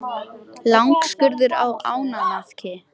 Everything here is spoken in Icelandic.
Langskurður á ánamaðki.